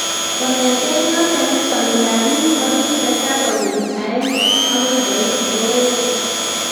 Kong'eten yoton, chong'indab biik kogitesak konyil aeng agoi koit 480.